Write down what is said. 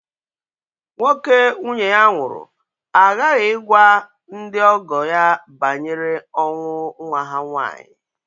Nwoke nwunye ya nwụrụ aghaghị ịgwa ndị ọgọ ya banyere ọnwụ nwa ha nwaanyị